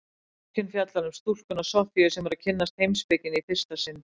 Bókin fjallar um stúlkuna Soffíu sem er að kynnast heimspekinni í fyrsta sinn.